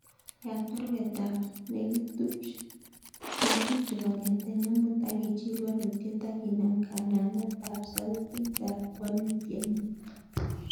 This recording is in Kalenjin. Yat baruweet ap negitupch kongeten omut agichil walutyet aginam kanamet ab sautit ab walutyenyun